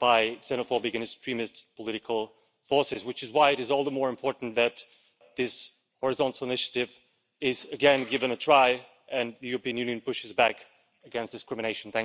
by xenophobic and extremist political forces. This is why it is all the more important that this horizontal initiative is again given a try, and that the European Union pushes back against discrimination.